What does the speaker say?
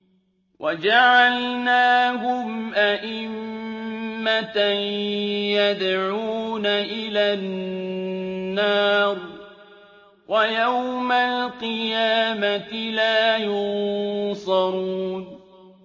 وَجَعَلْنَاهُمْ أَئِمَّةً يَدْعُونَ إِلَى النَّارِ ۖ وَيَوْمَ الْقِيَامَةِ لَا يُنصَرُونَ